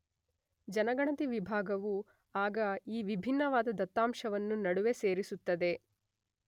ಜನಗಣತಿ ವಿಭಾಗವು ಆಗ ಈ ವಿಭಿನ್ನವಾದ ದತ್ತಾಂಶವನ್ನು ನಡುವೆ ಸೇರಿಸುತ್ತದೆ.